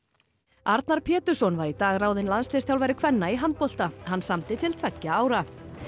Arnar Pétursson var í dag ráðinn landsliðsþjálfari kvenna í handbolta hann samdi til tveggja ára